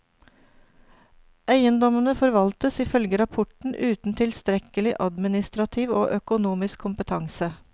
Eiendommene forvaltes ifølge rapporten uten tilstrekkelig administrativ og økonomisk kompetanse.